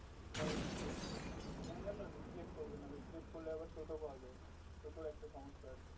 এবারে এখানে যেন বেশি late করবে না বেশি late করলে আবার টোটো পায়া যায়না টোটোর একটা সমস্যা আছে